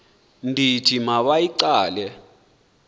ndithi ma bayigqale